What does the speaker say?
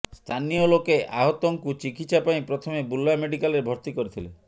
ସ୍ଥାନୀୟଲୋକେ ଆହତଙ୍କୁ ଚିକିତ୍ସା ପାଇଁ ପ୍ରଥମେ ବୁର୍ଲା ମେଡିକାଲରେ ଭର୍ତ୍ତି କରିଥିଲେ